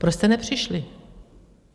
Proč jste nepřišli?